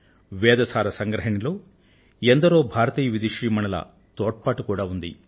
వేదాల కూర్పులో భారతదేశంలోని అనేక మంది విదుషీమణుల తోడ్పాటు ఉంది